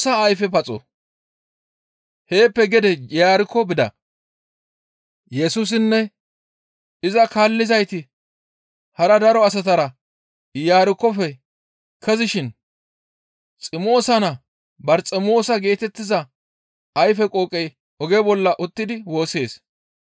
Heeppe gede Iyarkko bida; Yesusinne iza kaallizayti hara daro asatara Iyarkkofe kezishin Ximoosa naa Barxemoosa geetettiza ayfe qooqey oge bolla uttidi woossees.